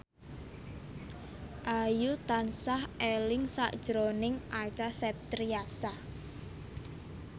Ayu tansah eling sakjroning Acha Septriasa